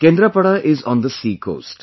Kendrapara is on the sea coast